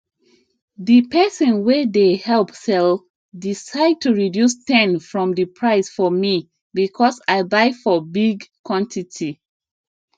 the person way dey help sell decide to reduce 10from the price for me because i buy for big quantity